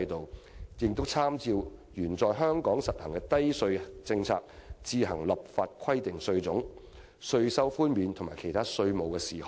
香港特別行政區參照原在香港實行的低稅政策，自行立法規定稅種、稅率、稅收寬免和其他稅務事項。